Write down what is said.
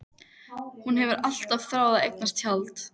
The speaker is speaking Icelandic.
Hún hefur alltaf þráð að eignast tjald.